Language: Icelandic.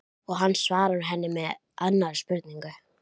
Og hann svarar henni með annarri spurningu